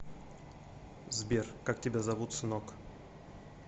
сбер как тебя зовут сынок